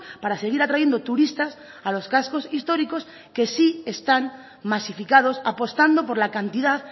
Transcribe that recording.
para seguir atrayendo turistas a los cascos históricos que sí están masificados apostando por la cantidad